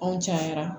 Anw cayara